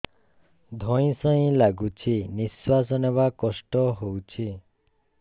ଧଇଁ ସଇଁ ଲାଗୁଛି ନିଃଶ୍ୱାସ ନବା କଷ୍ଟ ହଉଚି